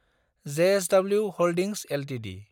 JSW holdings Ltd